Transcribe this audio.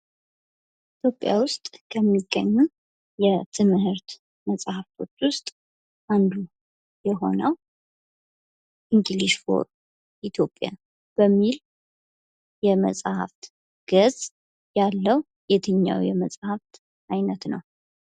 ኢትዮጵያ ውስጥ ከሚገኙ የትምህርት መጽሐፎች ውስጥ አንዱ የሆነው እንግሊዥ ፎር ኢትዮጵያ በሚል የመጽሐፍት ገጽ ያለው የትኛው የመጽሐፍ አይነት ነዉ?